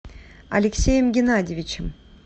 алексеем геннадьевичем